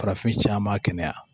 Farafincaama kɛnɛya